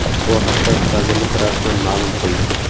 Bu haqda vazirlik rasman ma’lum qildi .